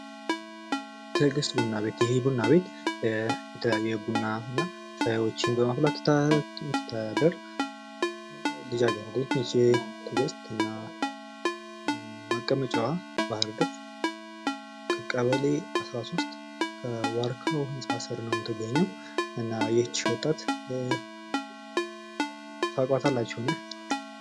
ትዕግስት ቡና ቤት፡- ይህ ቡና ቤት የተለያዩ ቡናዎችን እና ሻይዎችን በማፍለላት የምትተዳደር ልጃገረድ ነች። ትግስት እና መቀመጫዋ ባህር ዳር ቀበሌ አስራ ሶስት ዋርካው ህንፃ ስር ነው ምትገኘው። እና ይህችን ወጣት ታውቋታላችሁን?